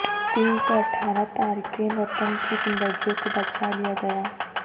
تین سو اٹھارہ تارکین وطن کی زندگیوں کو بچالیا گیا